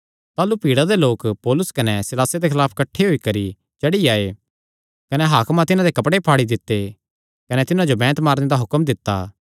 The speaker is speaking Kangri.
ताह़लू भीड़ा दे लोक पौलुस कने सीलासे दे खलाफ किठ्ठे होई करी चढ़ी आये कने हाकमां तिन्हां दे कपड़े फाड़ी दित्ते कने तिन्हां जो बैंत मारने दा हुक्म दित्ता